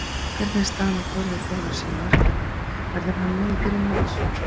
Hvernig er staðan á Þórði Þórðarsyni markverði, verður hann með í byrjun móts?